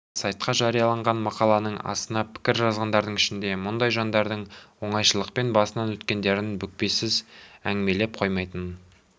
ал сайтқа жарияланған мақаланың астына пікір жазғандардың ішінде мұндай жандардың оңайшылықпен басынан өткендерін бүкпесіз әңгімелей қоймайтынын